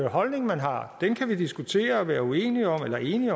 holdning man har den kan vi diskutere og være uenige eller enige